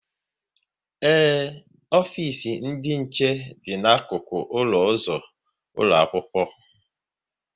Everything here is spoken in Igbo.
Ee, ofisi ndị nche dị n'akụkụ ụlọ ụzọ ụlọ akwụkwọ